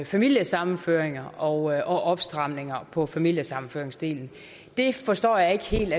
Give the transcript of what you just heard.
familiesammenføring og og opstramninger på familiesammenføringsdelen det forstår jeg ikke helt